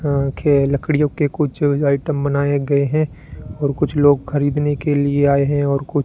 यहां आ के लकड़ियों के कुछ आइटम बनाए गए हैं और कुछ लोग खरीदने के लिए आए हैं और कुछ --